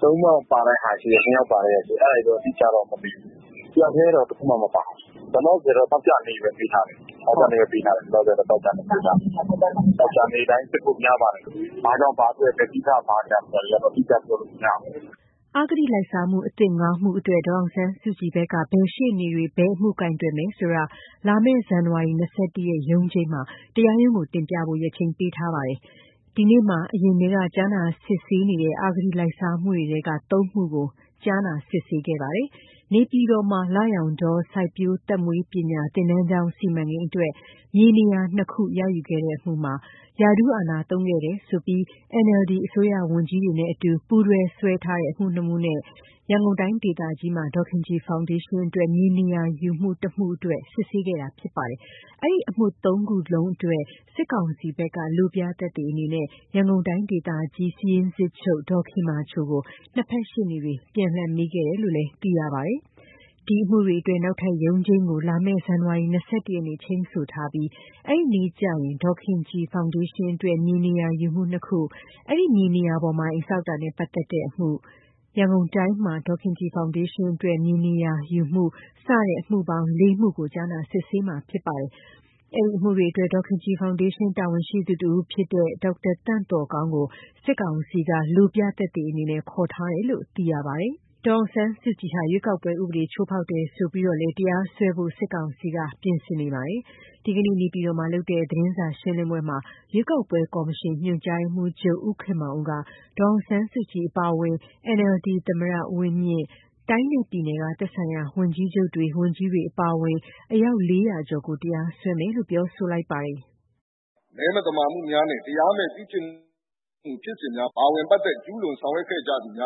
သလို ၂ယောက်ပါတဲ့ ဟာ ရှိတယ်။အတိအကျတော့ မသိသေးဘူး။ တယောက်ထဲတော့တခုမှမပါဘူး။လောလောဆယ်တော့သောကြာနေ့ ဘဲပေးထားတယ်။ လောလောဆယ်တော့ သောကြာနေ့ပေးထားတယ်။သောကြာနေ့တိုင်းစစ်ဖို့များပါတယ်။ ဘာကြောင့် ဘာအတွက်လဲ ဘယ်လိုဆိုတဲ့ အတိအကျတွေကတော့ အတိအကျပြောလို့မရသေးဘူး။ " အဂတိလိုက်စားမှုအသစ် ၅ မှုအတွက် ဒေါ်အောင်ဆန်းစုကြည်ဘက်က ဘယ်ရှေ့နေတွေ ဘယ်အမှုကိုင်တွယ်မယ်ဆိုတာ လာမယ့် ဇန်နဝါရီလ ၂၁ ရက် ရုံးချိန်းမှာ တရားရုံးကို တင်ပြဖို့ ရက်ချိန်းပေးထားပါတယ်။ ဒီနေ့မှာ အရင်ထဲက ကြားနာစစ်ဆေးနေတဲ့ အဂတိလိုက်စားမှုတွေထဲက ၃ မှုကို ကြားနာစစ်ဆေးပါတယ်။ နေပြည်တော်မှာ လရောင်တော စိုက်ပျိုးသက်မွေးပညာ သင်တန်းကျောင်း စီမံကိန်းအတွက် မြေနေရာ ၂ ခုရယူခဲ့ မှုမှာ ရာထူးအာဏာသုံးခဲ့တယ်ဆိုပြီး NLD အစိုးရဝန်ကြီးတွေနဲ့အတူ ပူးတွဲစွဲ ထားတဲ့ အမှု ၂ မှုနဲ့ ရန်ကုန်တိုင်းဒေသကြီးမှာ ဒေါ်ခင်ကြည်ဖောင်ဒေးရှင်းအတွက်မြေနေရာယူမှု ၁ မှုအတွက် စစ်ဆေး ခဲ့တာဖြစ်ပါတယ်။ အဲဒီအမှု ၃ ခုလုံးအတွက် စစ်ကောင်စီဘက်က လိုပြသက်သေအနေနဲ့ ရန်ကုန် တိုင်းဒေသကြီး စာရင်း စစ်ချုပ် ဒေါ်ခင်မာချိုကို ၂ ဖက်ရှေ့နေတွေ ပြန်လှန်မေးခဲ့တယ်လို့ သိရပါတယ်။ ဒီအမှုတွေအတွက် နောက်ထပ် ရုံးချိန်းကိုလာမယ့် ဇန်နဝါရီလ ၂၁ ရက်နေ့ ချိန်းဆိုထားပြီးအဲဒီနေ့ကျရင် ဒေါ်ခင်ကြည်ဖောင်ဒေးရှင်းအတွက် မြေနေရာယူမှု ၂ ခု၊ အဲဒီမြေနေရာပေါ်မှာ အိမ်ဆောက်တာနဲ့ပါတ်သက်တဲ့ အမှု၊ ရန်ကုန်တိုင်းမှာ ဒေါ်ခင်ကြည်ဖောင်ဒေးရှင်းအတွက် မြေနေရာယူမှုအမှု စတဲ့ စုစုပေါင်းအမှု ၄ မှုကို ကြားနာ စစ်ဆေးမှာဖြစ်ပါတယ်။ အဲဒီအမှုတွေအတွက် ဒေါ်ခင်ကြည်ဖောင်ဒေးရှင်းတာဝန်ရှိသူတဦးဖြစ်တဲ့ ဒေါက်တာသန့်သော်ကောင်း ကို စစ်ကောင်စီက လိုပြသက်သေအနေနဲ့ ခေါ်ထားတယ်လို့ သိရပါမယ်။ ဒေါ်အောင်ဆန်းစုကြည်ဟာ ရွေးကောက်ပွဲဥပဒေချိုးဖောက်တယ်ဆိုပြီးလည်း တရားစွဲဖို့ စစ်ကောင်စီက ပြင်ဆင်နေပါတယ်။ ဒီကနေ့ နေပြည်တော်မှာလုပ်တဲ့ သတင်းစာရှင်းလင်းပွဲမှာ ရွေးကောက်ပွဲကော်မရှင် ညွှန်ကြားရေးမှုးချုပ် ဦးခင်မောင်ဦးက ဒေါ်အောင်ဆန်းစုကြည်အပါအဝင် NLD သမ္မတဦးဝင်းမြင့်၊ တိုင်းနဲ့ပြည်နယ်ကသက်ဆိုင်ရာ ဝန်ကြီးချုပ်တွေ ဝန်ကြီးတွေအပါအဝင် အယောက် ၄၀၀ ကျော်ကို တရားစွဲမယ်လို့ ပြောဆိုလိုက်ပါတယ်။ " မဲမသမာမှုများနဲ့တရားမဲ့ ပြုကျင့်မှု ဖြစ်စဉ်တွေမှာပါဝင်ဆောင်ရွက်ခဲ့ကြ သူ တွေ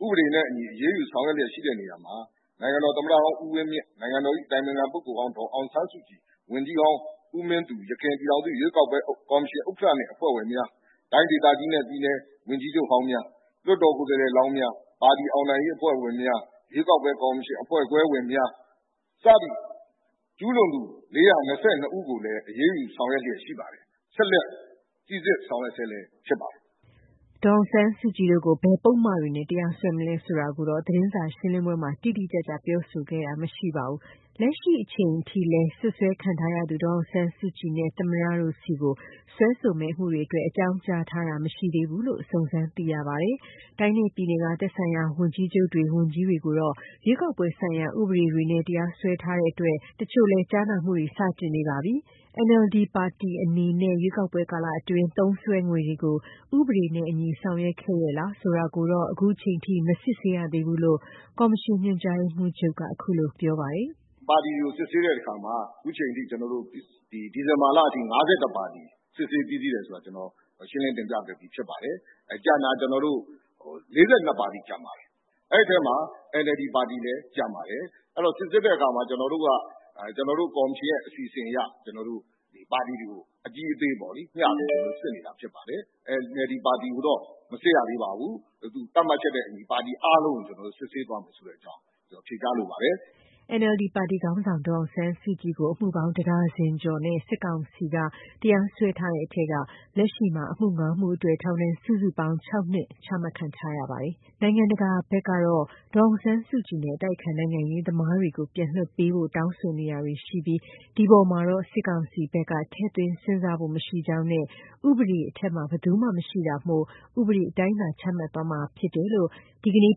ကိုဥပဒေနဲ့အညီအရေးယူဆောင် ရွက်နေတာမှာ နိုင်ငံတော်သမ္မတဟောင်း ဦးဝင်းမြင့်၊နိုင်ငံတော်အတိုင်ပင်ခံ ပုဂ္ဂိုလ် ဒေါ်အောင်ဆန်းစုကြည် ၊ ဝန်ကြီး ဟောင်းဦးမင်းသူ အရင်ကော်မရှင်ဥက္ကဌနဲ့အဖွဲ့ဝင်များ၊ တိုင်းဒေသကြီးနဲ့ ပြည် နယ် ဝန်ကြီးချုပ်ဟောင်းများ၊လွှတ် တော်ကိုယ်စားလှယ်လောင်းများ ပါတီအောင်နိုင်ရေးအဖွဲ့ဝင်များ၊ရွေး ကောက်ပွဲကော်မရှင်အဖွဲ့ခွဲငယ်ဝင်များ၊စတဲ့ ကျူးလွန်သူ ၄၂၂ဦးကိုလည်း အရေးယူဆောင်ရွက်ဆဲလဲရှိပါတယ်။ ဆက်လက်စိစစ်ဆောင်ရွက်ဆဲလည်းဖြစ်ပါတယ်။ " ဒေါ်အောင်ဆန်းစုကြည်တို့ကိုဘယ်ပုဒ်မတွေနဲ့ တရားစွဲမလဲဆိုတာကိုတော့ သတင်းစာရှင်းလင်းပွဲမှာ တိတိကျကျ ပြောဆိုခဲ့တာမရှိပါဘူး။ လက်ရှိချိန်ထိလဲ စွပ်စွဲခံရသူ ဒေါ်အောင်ဆန်းစုကြည်နဲ့သမ္မတတို့ဆီကို စွဲဆိုမယ့် အမှုတွေ အတွက် အကြောင်းကြားထားတာမရှိသေးဘူးလို့ စုံစမ်းသိရပါတယ်။ တိုင်းနဲ့ပြည်နယ်ကသက်ဆိုင်ရာ ဝန်ကြီးချုပ်တွေ၊ ဝန်ကြီးတွေကိုတော့ ရွေးကောက်ပွဲဆိုင်ရာ ဥပဒေတွေနဲ့ တရားစွဲထားတဲ့အတွက် တချို့လည်း ကြားနာမှုတွေ စတင်နေပါပြီ၊ NLD ပါတီအနေနဲ့ ရွေးကောက်ပွဲ ကာလအတွင်း သုံးစွဲငွေတွေကို ဥပဒေနဲ့အညီ ဆောင်ရွက်ခဲ့ရဲ့လားဆိုတာကိုတော ခုချိန်ထိ မစစ်ဆေးရသေးဘူးလို့ ကောင်မရှင် ညွှန်ကြားရေးမှူးချုပ်က ခုလိုပြောပါတယ်။ "ပါတီတွေကိုစစ်ဆေးတဲ့ အခါမှာ ဒီဇင်ဘာလထိ ၅၁ ပါတီကိုစစ်ဆေးပြီးပါပြီဆိုတာ ရှင်းလင်းတင်ပြပြီးဖြစ်ပါတယ်။ ကျန်တာ ၄၂ ပါတီကျန်ပါတယ်။ အဲထဲမှာ NLD ပါတီလည်းကျန်ပါ တယ်။ စိစစ်တဲ့ အခါမှာ ကော်မရှင်အနေနဲ့ပါတီ အကြီးအသေးလိုက် မျှစစ်နေတာဖြစ်ပါတယ်။ NLD ပါတီကိုမစစ်ရ သေး ပါဘူး။သတ်မှတ် ချက်နဲ့အညီပါတီအားလုံး ကိုစစ်မယ့်အကြောင်းဖြေချင်ပါတယ်။" NLD ပါတီခေါင်းဆောင် ဒေါ်အောင်ဆန်းစုကြည်ကို အမှုပေါင်း ၁ ဒါဇင်ကျော်နဲ့ စစ်ကောင်စီက တရားစွဲထားတဲ့ထဲက လက်ရှိမှာ အမှု ၅ မှုအတွက် ထောင်ဒဏ် စုစုပေါင်း ၆ နှစ်ချမှတ်ခံထားရပါတယ်။ နိုင်ငံတကာဘက်က ဒေါ်အောင်ဆန်းစုကြည်နဲ့အတိုက်အခံ နိုင်ငံရေးသမားတွေကိုပြန်လွှတ်ပေးဖို့ တောင်းဆိုနေတာတွေရှိပြီး ဒီအပေါ်မှာတော့စစ်ကောင်စီဘက်က ထည့်သွင်းစဉ်းစားဖို့ မရှိကြောင်းနဲ့ဥပဒေအထက်မှာဘယ်သူမှမရှိတာမို့ ဥပဒေတိုင်းသာ ချမှတ်သွားမှာဖြစ်တယ်လို့ ဒီကနေ့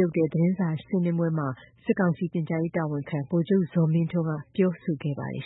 လုပ်တဲ့သတင်းစာရှင်းလင်းပွဲမှာ စစ်ကောင်စီ ပြန်ကြားရေးတာဝန်ခံ ဗိုလ်ချုပ်ဇော်မင်းထွန်းကပြောဆိုခဲ့ပါတယ်